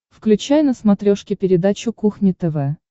включай на смотрешке передачу кухня тв